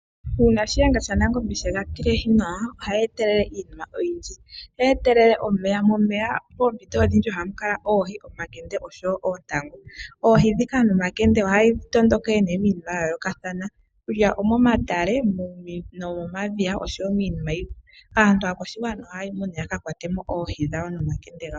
Uuna shiyenga shanangombe sheya tilehi nawa ohayi etelele iinima oyindja. Ohayi etelele omeya. Omeya moompito odhindji ohamu kala oohi, omakende nosho woo oontangu. Oohi dhila ohadhi tondokele miinima yayoolokathana kutya omomatale nomomadhiya nosho woo miinima yimwe. Aantu aakwashigwana ohayi mo nduno yakakwatemo oohi nomakende gawo.